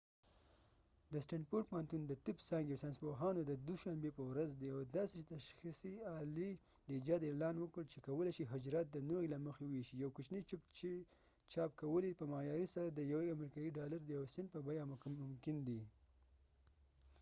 د stanford پوهنتون د طب د ځانګی ساینسپوهانو د دوه شنبی په ورځ د یوې داسې تشخیصی آلی د ایجاد اعلان وکړ چې کولای شي حجرات د نوعی له مخی وويشي یو کوچنی چپ چې چاپ کول یې په معیاری inkject printer سره په د یوه امریکایې ډالر د یو سنټ په بیه ممکن دي